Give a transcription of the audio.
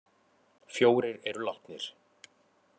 Fjórir eru látnir